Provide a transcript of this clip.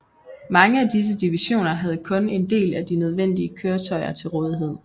Mange af disse divisioner havde kun en del af de nødvendige køretøjer til rådighed